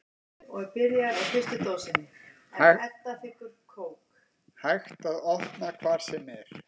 Hægt að opna hvar sem er